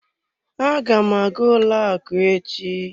Aga m aga ụlọ akụ echi.